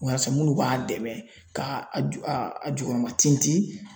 Wasa minnu b'a dɛmɛ ka a ju a a jukɔrɔma tintin